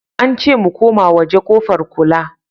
Ance mu koma waje kofar kula